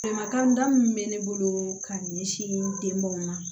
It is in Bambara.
Bɛnbakan da min bɛ ne bolo ka ɲɛsin denbaw ma